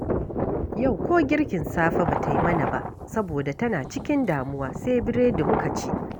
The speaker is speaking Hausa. Yau ko girkin safe ba ta yi mana ba, saboda tana cikin damuwa, sai biredi muka ci